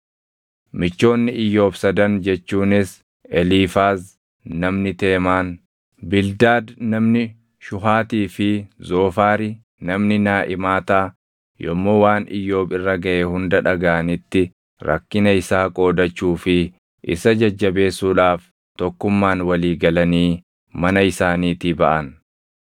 Michoonni Iyyoob sadan jechuunis Eliifaaz namni Teemaan, Bildaad namni Shuhaatii fi Zoofaari namni Naaʼimaataa yommuu waan Iyyoob irra gaʼe hunda dhagaʼanitti rakkina isaa qoodachuu fi isa jajjabeessuudhaaf tokkummaan walii galanii mana isaaniitii baʼan.